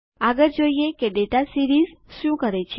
આગળ જોઈએ કે દાતા સીરીઝ શું કરે છે